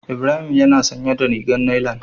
Ibrahim yana sanye da rigar nailan.